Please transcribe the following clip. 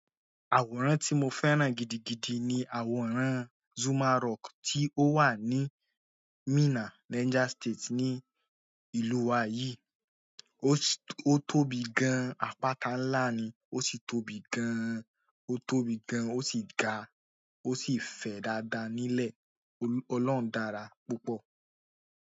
Àwòrán tí mo fẹ́ràn gidigidi ni àwòrán Zuma Rock tí ó wà ní Minna, Niger State ní ìlú wa yìí. Ó tóbi gan an, àpáta ńlá ni, ó sì tóbi gan an, ó tóbi gan an, ó sì ga, ó sì fẹ̀ dáadáa nílẹ̀. Ọlọ́hun dára púpọ̀.